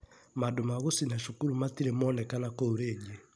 Mandũ ma gũcina cukuru matirĩ monekana kũu rĩngĩ.